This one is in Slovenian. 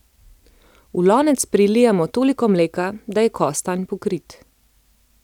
V lonec prilijemo toliko mleka, da je kostanj pokrit.